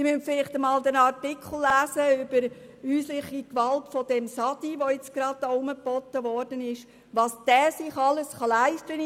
Sie müssten vielleicht einmal den Artikel über häusliche Gewalt im Fall Saidi, der gerade herumgeboten wird, lesen: Was sich dieser in der Schweiz alles leisten kann!